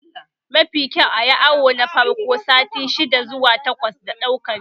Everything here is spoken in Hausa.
Yafi kyau ayi awo na farko sati shidda zuwa na takwas da ɗaukan ciki